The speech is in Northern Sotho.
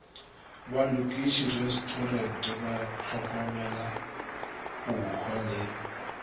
balokiši restorers bahlokomela hohwa le